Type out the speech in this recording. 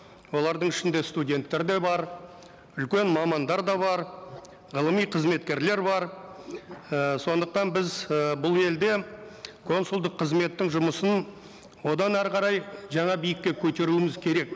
олардың ішінде студенттер де бар үлкен мамандар да бар ғылыми қызметкерлер бар і сондықтан біз ыыы бұл елде консулдық қызметтің жұмысын одан әрі қарай жаңа биікке көтеруіміз керек